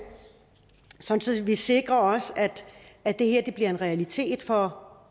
sådan at vi også sikrer at det her bliver en realitet for